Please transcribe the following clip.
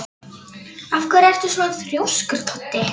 Af hverju ertu svona þrjóskur, Toddi?